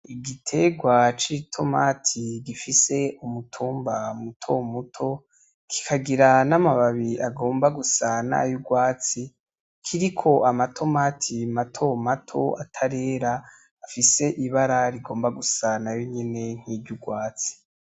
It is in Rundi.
Igiterwa c'itomati gifise umutumba mutomuto kikagira n'amabi agomba gusa nayo urwatsi kiriko amatomati matomato atarera gifise ibara rigomba gusa nayonyene niry' urwatsi.